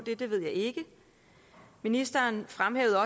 det ved jeg ikke ministeren fremhævede